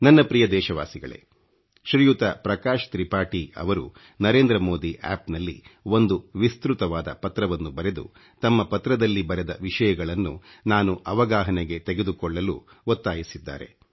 ನನ್ನ ಪ್ರಿಯ ದೇಶವಾಸಿಗಳೇ ಶ್ರಿಯುತ ಪ್ರಕಾಶ್ ತ್ರಿಪಾಠಿ ಅವರು ಓಚಿಡಿeಟಿಜಡಿಚಿಒoಜiಂಠಿಠಿ ನಲ್ಲಿ ಒಂದು ವಿಸ್ತøತವಾದ ಪತ್ರವನ್ನು ಬರೆದು ತಮ್ಮ ಪತ್ರದಲ್ಲಿ ಬರೆದ ವಿಷಯಗಳನ್ನು ನಾನು ಅವಗಾಹನೆಗೆ ತೆಗೆದುಕೊಳ್ಳಲು ತುಂಬಾ ಒತ್ತಾಯಿಸಿದ್ದಾರೆ